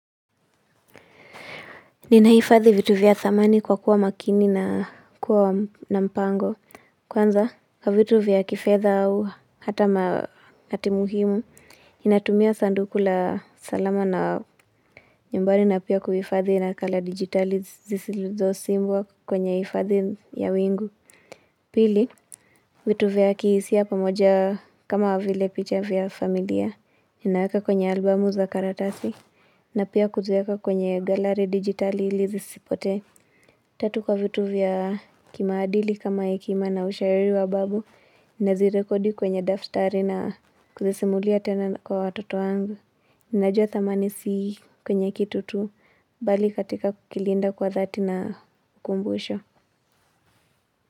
Ninahifadhi vitu vya thamani kwa kuwa makini na kuwa na mpango. Kwanza, vitu vya kifedha au hata matimuhimu. Natumia sanduku la salama na nyumbari na pia kuhifadhi nakala dijitali zisizo simbwa kwenye hifadhi ya wingu. Pili, vitu vya kihisia pamoja kama vile picha vya familia. Ninaweka kwenye albumu za karatasi. Na pia kuzieka kwenye gallery dijitali ili zisipote. Tatu kwa vitu vya kimaadili kama hekima na ushauri wa babu, nazirekodi kwenye daftari na kuzisimulia tena kwa watoto wangu. Najua thamani si kwenye kitu tu, bali katika kukilinda kwa dhati na kumbusho.